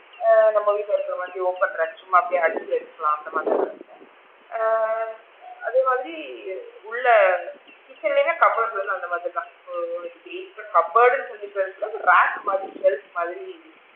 ஆ நம்ம வீட்ல இருக்கிற மாதிரி open rack சும்மா அப்படியே அடுக்கி வச்சுக்கிரலாம் அந்த மாதிரி ஆ அதே மாதிரி உள்ள kitchen ல லா cupboard அந்த மாதிரி தான் உனக்கு cupboard டுன்னு சொல்லிக்கிறதுக்கு rack மாதிரி shelf மாதிரி,